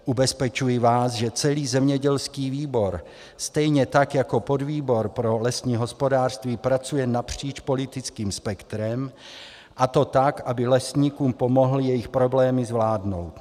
Ubezpečuji vás, že celý zemědělský výbor, stejně tak jako podvýbor pro lesní hospodářství, pracuje napříč politickým spektrem, a to tak, aby lesníkům pomohl jejich problémy zvládnout.